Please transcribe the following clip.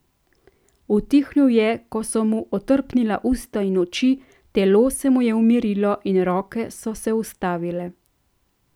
Utihnil je, ko so mu otrpnila usta in oči, telo se mu je umirilo in roke so se ustavile.